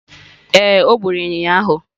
Ee, o gburu ịnyịnya ụnyahụ.